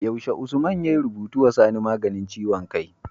Yaushe Usman ya rubutu wa sani maganin ciwon kai?